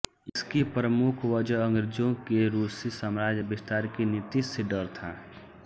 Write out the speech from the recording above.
इसकी प्रमुख वजह अंग्रज़ों के रूसी साम्राज्य विस्तार की नीति से डर था